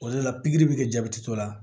O de la pikiri bɛ kɛ jabɛti dɔ la